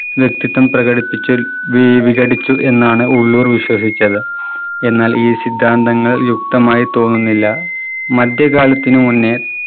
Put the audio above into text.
വ്യക്തിത്വം പ്രകടിപ്പിച്ച് വീ വികടിച്ചു എന്നാണ് ഉള്ളൂർ വിശ്വസിച്ചത്. എന്നാൽ ഈ സിദാന്തങ്ങൾ യുക്തമായി തോന്നുന്നില്ല. മധ്യകാലത്തിനു മുന്നേ